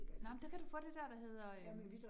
Nej, men der kan du få det der, der hedder øh